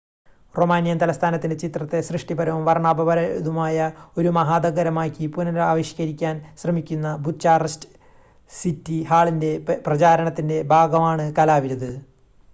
Romanian തലസ്ഥാനത്തിൻ്റെ ചിത്രത്തെ സൃഷ്ടിപരവും വർണ്ണാഭമായതുമായ ഒരു മഹാനഗരമായി പുനരാവിഷ്ക്കരിക്കാൻ ശ്രമിക്കുന്ന ബുച്ചാറസ്റ്റ് സിറ്റി ഹാളിൻ്റെ പ്രചാരണത്തിൻ്റെ ഭാഗമാണ് കലാവിരുത്